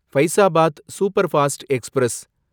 Faizabad superfast express